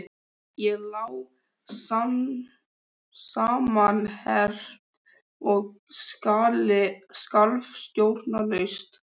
Ég lá samanherpt og skalf stjórnlaust.